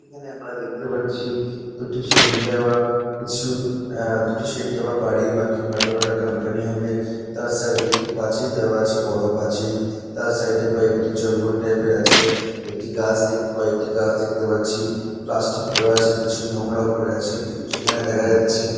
এখানে আমরা দেখতে পাচ্ছি দুটি শেড দেওয়া কিছু আহ দুটি শেড দেওয়া বাড়ি বা কিংবা কোন একটা কোম্পানি হবে তার সাইড - এ পাঁচিল দেওয়া আছে বড় পাঁচিল তার সাইড -এ কয়েকটি জঙ্গল টাইপ -এর আছে একটি গাছ দেখ কয়েকটি গাছ দেখতে পাচ্ছি প্লাস্টিক পড়ে আছে কিছু নোংরাও পড়ে আছে সেখানে দেখা যাচ্ছে--